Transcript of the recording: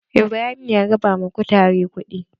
Ibrahim ya raba ma kutare kuɗi.